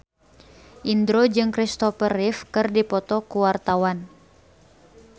Indro jeung Kristopher Reeve keur dipoto ku wartawan